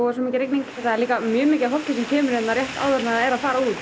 svo mikil rigning það er líka mjög mikið af fólki sem kemur hérna rétt áður en það er að fara út